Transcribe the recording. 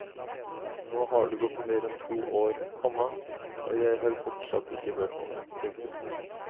Nå har det gått mer enn to år, komma og jeg har fortsatt ikke hørt noe. punktum